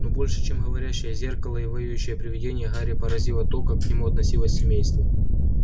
но больше чем говорящее зеркало и воющее привидение гарри поразило то как к нему относилось семейство